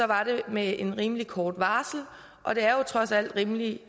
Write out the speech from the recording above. var det med et rimelig kort varsel og det er jo trods alt rimelig